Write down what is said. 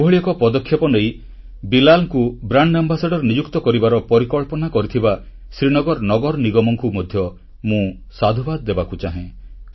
ଏଭଳି ଏକ ପଦକ୍ଷେପ ନେଇ ବିଲାଲକୁ ବ୍ରାଣ୍ଡ ଆମ୍ବାସାଡର ନିଯୁକ୍ତ କରିବାର ପରିକଳ୍ପନା କରିଥିବା ଶ୍ରୀନଗର ନଗର ନିଗମକୁ ମଧ୍ୟ ମୁଁ ସାଧୁବାଦ ଦେବାକୁ ଚାହେଁ